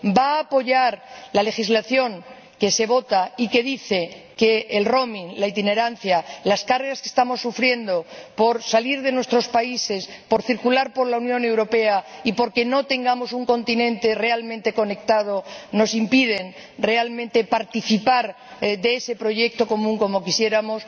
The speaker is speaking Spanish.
¿Va a apoyar la legislación que se vota y que dice que el roaming la itinerancia, los costes que afrontamos por salir de nuestros países, por circular por la Unión Europea y por no tener un continente realmente conectado nos impiden realmente participar de ese proyecto común como quisiéramos?